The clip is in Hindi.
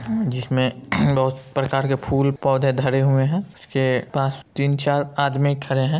जिसमे बोहोत प्रकार के फूल पौधे धरे हुए हैं इसके पास तीन चार आदमी खड़े हैं।